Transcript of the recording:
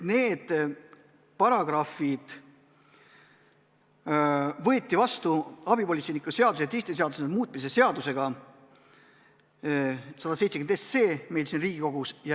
Need sätted võeti vastu abipolitseiniku seaduse ja teiste seaduste muutmise seadusega meil siin Riigikogus.